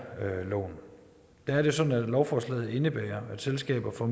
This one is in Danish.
er det sådan at lovforslaget indebærer at selskaber får